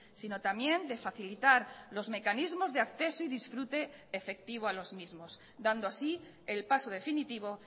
si no también de facilitar los mecanismos de acceso y disfrute efectivo a los mismos dando así el paso definitivo